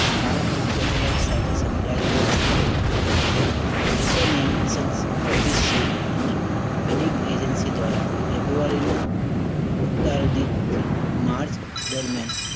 spy satellite સાથે સંકળાયેલી national અનેક agency દ્વારા ફેબ્રુઆરીના થી માર્ચ દરમ્યાન